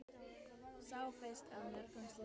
Sá fyrsti af mörgum slíkum.